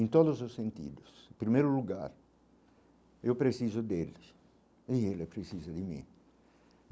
Em todos os sentidos, primeiro lugar, eu preciso deles, e ele precisa de mim.